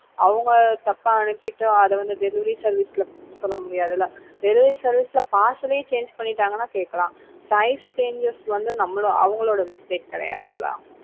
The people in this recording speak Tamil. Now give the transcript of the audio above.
அவங்க தப்பா அனுப்பிட்டு அதை வந்து delivery service ல சொல்ல முடியாது இல்ல delivery service ல parcel ஏ change பண்ணிட்டாங்கன்னா கேட்கலாம் size changes வந்து நம்மளோ அவங்களோட mistakes கிடையாது இல்ல